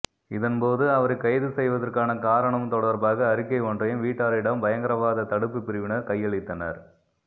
இதன்போது அவரை கைது செய்வதற்கான காரணம் தொடர்பாக அறிக்கை ஒன்றையும் வீட்டாரிடம் யங்கரவாத தடுப்பு பிரிவினர் கையளித்தனர்